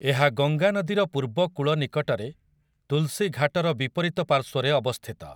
ଏହା ଗଙ୍ଗା ନଦୀର ପୂର୍ବ କୂଳ ନିକଟରେ, ତୁଲ୍‌ସୀ ଘାଟର ବିପରୀତ ପାର୍ଶ୍ୱରେ, ଅବସ୍ଥିତ ।